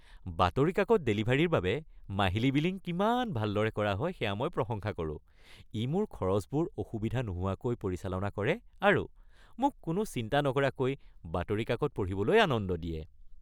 বাতৰি কাকত ডেলিভাৰীৰ বাবে মাহিলী বিলিং কিমান ভালদৰে কৰা হয় সেয়া মই প্ৰশংসা কৰোঁ। ই মোৰ খৰচবোৰ অসুবিধা নোহোৱাকৈ পৰিচালনা কৰে আৰু মোক কোনো চিন্তা নকৰাকৈ বাতৰি কাকত পঢ়িবলৈ আনন্দ দিয়ে।